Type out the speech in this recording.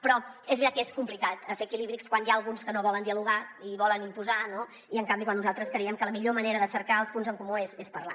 però és veritat que és complicat fer equilibris quan n’hi ha alguns que no volen dialogar i volen imposar no i en canvi quan nosaltres creiem que la millor manera de cercar els punts en comú és parlar